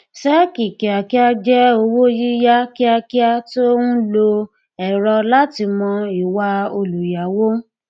sẹẹkì kíákíá jẹ owó yíyá kíákíá tó ń lo ẹrọ láti mọ ìwà olùyáwó